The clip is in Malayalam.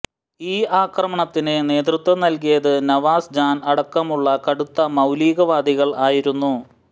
ഈ ആക്രമണത്തിന് നേതൃത്വം നൽകിയത് നവാസ് ജാൻ അടക്കമുള്ള കടുത്ത മൌലികവാദികൾ ആയിരുന്നു